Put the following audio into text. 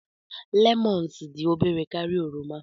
lemons dị obere karịa oroma